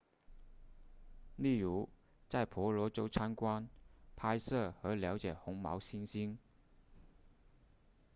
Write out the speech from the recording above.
例如在婆罗洲参观拍摄和了解红毛猩猩